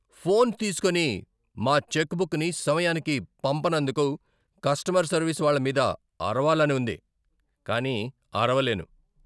Phone తీస్కోని, మా చెక్బుక్ని సమయానికి పంపనందుకు కస్టమర్ సర్వీస్ వాళ్ళ మీద అరవాలని ఉంది కానీ అరవలేను.